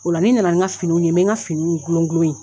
O la ni nana ni ka finiw ye, bɛ n ka finiw gulogulo ye.